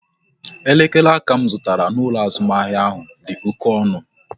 Elekere aka m zụtara n'ụlọ azụmahịa ahụ dị oké ọnụ